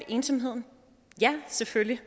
ensomhed ja selvfølgelig